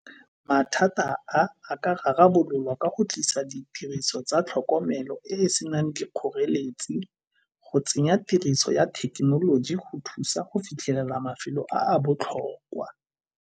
Mathata a a ka rarabololwa ka go tlisa ditiriso tsa tlhokomelo e e senang ke kgoreletsi, go tsenya tiriso ya thekenoloji go thusa go fitlhelela mafelo a a botlhokwa.